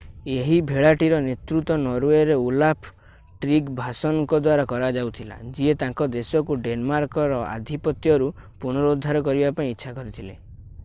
ଏହି ଭେଳାଟିର ନେତୃତ୍ୱ ନରୱେର ଓଲାଫ୍ ଟ୍ରିଗଭାସନ୍‌ଙ୍କ ଦ୍ୱାରା କରାଯାଉଥିଲା ଯିଏ ତାଙ୍କ ଦେଶକୁ ଡେନ୍‌ମାର୍କର ଆଧିପତ୍ୟରୁ ପୁନରୁଦ୍ଧାର କରିବା ପାଇଁ ଇଚ୍ଛା କରିଥିଲେ।